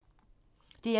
DR1